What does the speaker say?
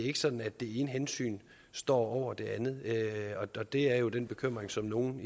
er sådan at det ene hensyn står over det andet og det er jo er den bekymring som nogle